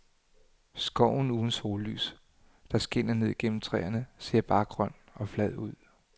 Skoven uden sollys, der skinner ned gennem træerne, ser bare grøn og flad ud.